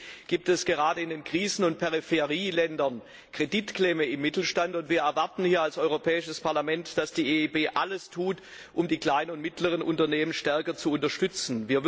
Trotzdem gibt es gerade in den Krisen und Peripherieländern eine Kreditklemme im Mittelstand. Wir erwarten hier als Europäisches Parlament, dass die EIB alles tut, um die kleinen und mittleren Unternehmen stärker zu unterstützen.